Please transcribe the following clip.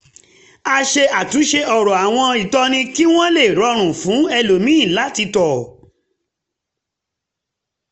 ó ṣe àtúnṣe ọ̀rọ̀ àwọn ìtọ́ni kí wọ́n lè rọrùn fún èlòmíì láti tọ̀